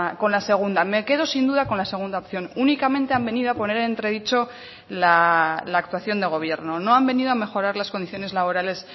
con la segunda me quedo sin duda con la segunda opción únicamente han venido a poner entredicho la actuación de gobierno no han venido a mejorar las condiciones laborales